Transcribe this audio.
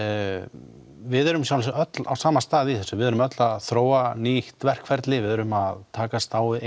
við erum að sjálfsögðu öll á sama stað í þessu við erum öll að þróa nýtt verkferli við erum að takast á við